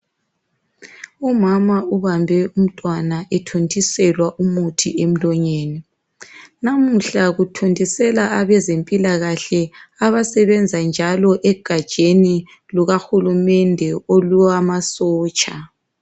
Umama ubambe umntwana ethontiselwa umuthi emlonyeni, lamuhla kuthontisela abezempilakahle abasebenza njalo egatsheni luka hulumende olwamasotsha.